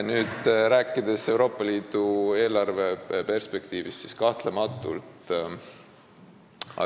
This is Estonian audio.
Nüüd, rääkides Euroopa Liidu eelarve perspektiivist, siis kahtlemata ...